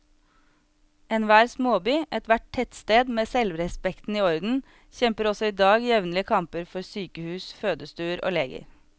Enhver småby, ethvert tettsted med selvrespekten i orden, kjemper også i dag jevnlige kamper for sykehus, fødestuer og leger.